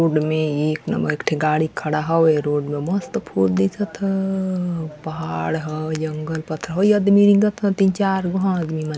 road मे एक number एकठे गाड़ी खड़ा हवे रोड म मस्त फूल दिखत ह पहाड़ ह जंगल तिन चार वहां आदमी मन --